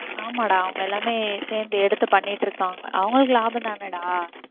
ஆமாடா அவங்க எல்லாமே சேர்ந்து எடுத்து பண்ணிட்டு இருக்காங்க. அவங்களுக்கு இலாபம் தானடா